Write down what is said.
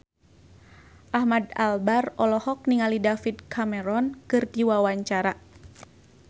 Ahmad Albar olohok ningali David Cameron keur diwawancara